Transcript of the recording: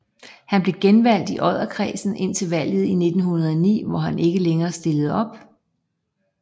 Han blev genvalgt i Odderkredsen indtil valget i 1909 hvor han ikke længere stillede op